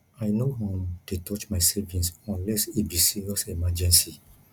i no um dey touch my savings unless e be serious emergency